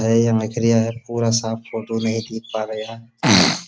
है ये है। पूरा साफ फ़ोटो नहीं दिख पा रेया है।